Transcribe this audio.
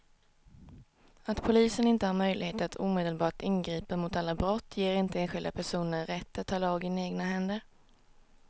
Att polisen inte har möjlighet att omedelbart ingripa mot alla brott ger inte enskilda personer rätt att ta lagen i egna händer.